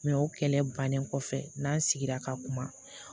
o kɛlɛ bannen kɔfɛ n'an sigira ka kuma